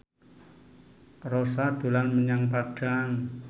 Rossa dolan menyang Padang